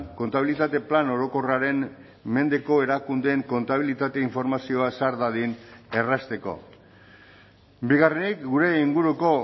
kontabilitate plan orokorraren mendeko erakundeen kontabilitate informazioa sar dadin errazteko bigarrenik gure inguruko